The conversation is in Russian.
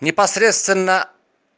непосредственно